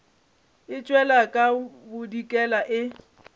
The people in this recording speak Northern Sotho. e tšwela ka bodikela e